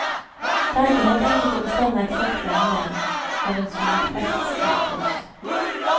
Det er ikke helt enkelt å bestemme eksakt lengde av en solflekksyklus.